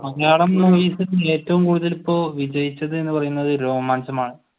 മലയാളം മൂവിസിൽ ഏറ്റവും കൂടുതൽ ഇപ്പോൾ വിജയിച്ചത് എന്ന് പറയുന്നത് രോമാഞ്ചമാണ്.